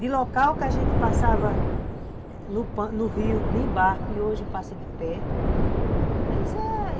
De local que a gente passava no rio em barco e hoje passa de pé, mas é...